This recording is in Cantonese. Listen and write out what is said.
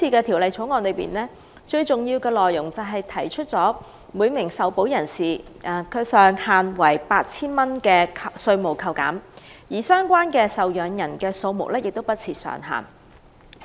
《條例草案》主要為每名受保人提供 8,000 元上限的稅務扣減，而相關受保人的數目不設上限。